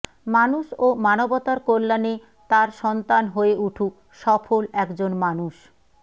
মানুষ ও মানবতার কল্যাণে তার সন্তান হয়ে উঠুক সফল একজন মানুষ